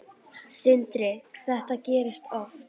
Sindri: Þetta gerist oft?